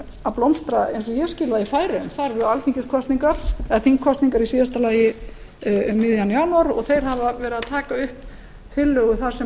að blómstra eins og ég skil það í færeyjum það eru þingkosningar í síðasta lagi um miðjan janúar og þeir hafa verið að taka upp tillögu þar sem